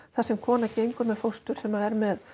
þar sem kona gengur með fóstur sem er með